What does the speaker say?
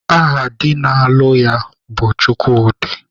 Aha di na-alụ ya bụ Chukwudị